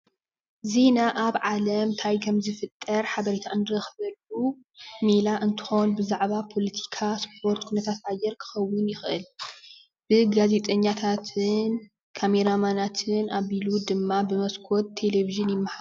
ዜና ኣብ ዓለም እንታይ ከም ዝፍጠር ሓበሬታ እንረክበሉ ሜላ እንትኮን ብዛዕባ ፖለቲካ፣ ስፖርት፣ ኩነታት ኣየር ክኮን ይክእል፡፡ ብጋዜጠኛታትን ብካሜራማናትን ኣቢሉ ድማ ብሞስኮት ቴሌቭዥን ይማሓላለፍ፡፡